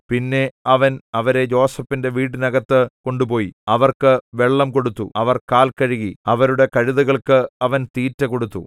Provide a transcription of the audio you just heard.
പിന്നെ അവൻ അവരെ യോസേഫിന്റെ വീടിനകത്തു കൊണ്ടുപോയി അവർക്ക് വെള്ളം കൊടുത്തു അവർ കാൽ കഴുകി അവരുടെ കഴുതകൾക്ക് അവൻ തീറ്റ കൊടുത്തു